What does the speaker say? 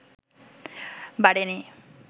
বাড়েনি